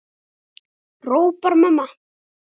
hrópar mamma.